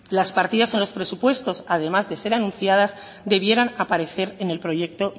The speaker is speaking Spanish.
las partidas en los presupuestos además de ser anunciadas deberían aparecer en el proyecto